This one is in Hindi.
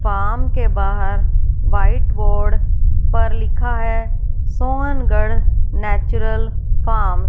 फार्म के बाहर व्हाइट बोर्ड पर लिखा है सोहनगढ़ नेचुरल फॉर्म ।